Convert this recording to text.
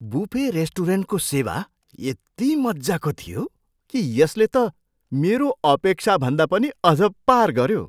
Buffet रेस्टुरेन्टको सेवा यति मज्जाको थियो कि यसले त मेरो अपेक्षाभन्दा पनि अझ पार गऱ्यो।